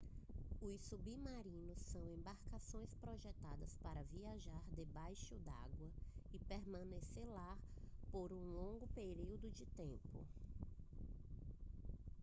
os submarinos são embarcações projetadas para viajar debaixo d'água e permanecer lá por um longo período de tempo